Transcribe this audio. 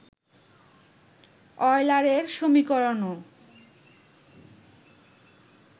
অয়লারের সমীকরণও